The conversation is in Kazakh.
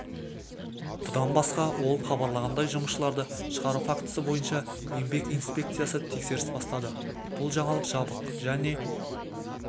бұдан басқа ол хабарлағандай жұмысшыларды шығару фактісі бойынша еңбек инспекциясы тексеріс бастады бұл жаңалық жабық және